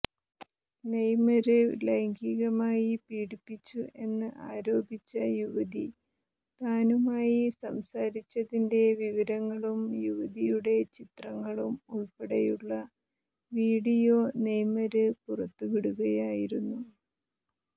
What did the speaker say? Neymar ലൈംഗികമായി പീഡിപ്പിച്ചു എന്ന് ആരോപിച്ച യുവതി താനുമായി സംസാരിച്ചതിന്റെ വിവരങ്ങളും യുവതിയുടെ ചിത്രങ്ങളും ഉള്പ്പെടെയുള്ള വീഡിയോ നെയ്മര് പുറത്തുവിടുകയായിരുന്നു